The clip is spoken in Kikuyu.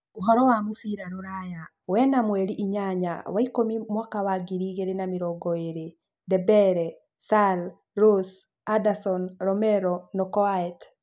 Ũhoro wa mũbira rũraya wena mweri inyanya wa ikũmi mwaka wa ngiri igĩrĩ na mĩrongo ĩĩrĩ: Dembele, Sarr, Rose, Anderson, Romero, Knockaert